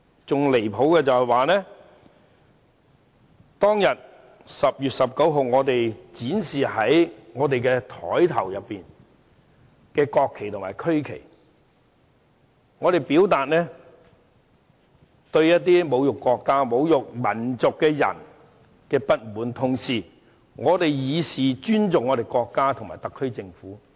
更離譜的是，在10月19日當天，我們於桌上展示國旗和區旗，是為了向侮辱國家和民族的人表達不滿，同時以示尊重國家和特區政府。